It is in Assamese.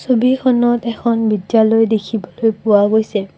ছবি এখনত এখন বিদ্যালয় দেখিবলৈ পোৱা গৈছে।